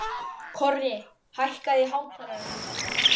Korri, hækkaðu í hátalaranum.